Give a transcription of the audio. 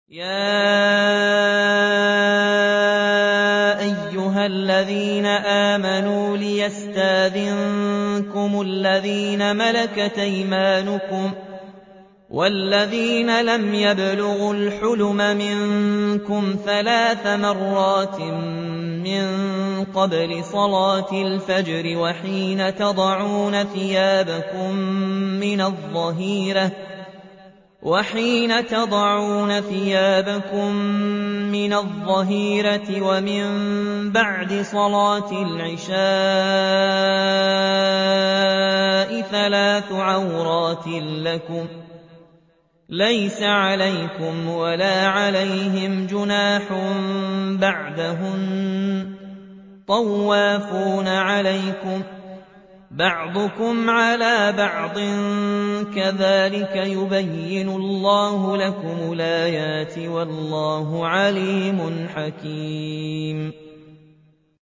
يَا أَيُّهَا الَّذِينَ آمَنُوا لِيَسْتَأْذِنكُمُ الَّذِينَ مَلَكَتْ أَيْمَانُكُمْ وَالَّذِينَ لَمْ يَبْلُغُوا الْحُلُمَ مِنكُمْ ثَلَاثَ مَرَّاتٍ ۚ مِّن قَبْلِ صَلَاةِ الْفَجْرِ وَحِينَ تَضَعُونَ ثِيَابَكُم مِّنَ الظَّهِيرَةِ وَمِن بَعْدِ صَلَاةِ الْعِشَاءِ ۚ ثَلَاثُ عَوْرَاتٍ لَّكُمْ ۚ لَيْسَ عَلَيْكُمْ وَلَا عَلَيْهِمْ جُنَاحٌ بَعْدَهُنَّ ۚ طَوَّافُونَ عَلَيْكُم بَعْضُكُمْ عَلَىٰ بَعْضٍ ۚ كَذَٰلِكَ يُبَيِّنُ اللَّهُ لَكُمُ الْآيَاتِ ۗ وَاللَّهُ عَلِيمٌ حَكِيمٌ